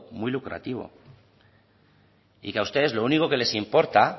muy lucrativo y que a ustedes lo único que les importa